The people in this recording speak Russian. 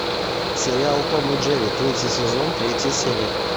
сериал том и джерри третий сезон третья серия